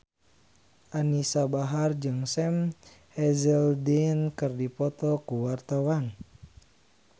Anisa Bahar jeung Sam Hazeldine keur dipoto ku wartawan